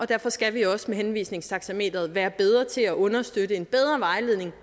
derfor skal vi også med henvisningstaxameteret være bedre til at understøtte en bedre vejledning